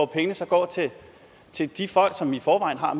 pengene så går til de folk som i forvejen har